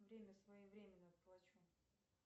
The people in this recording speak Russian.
время своевременно плачу